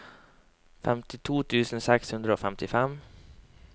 femtito tusen seks hundre og femtifem